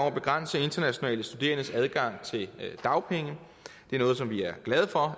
at begrænse internationale studerendes adgang til dagpenge det er noget som vi er glade for